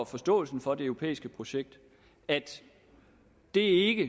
forståelsen for det europæiske projekt at det ikke